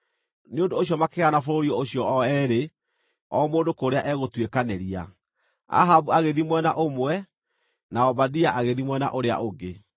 Nĩ ũndũ ũcio makĩgayana bũrũri ũcio o eerĩ o mũndũ kũrĩa egũtuĩkanĩria, Ahabu agĩthiĩ mwena ũmwe na Obadia agĩthiĩ mwena ũrĩa ũngĩ.